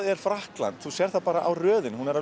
er Frakkland þú sérð það bara á röðinni hún er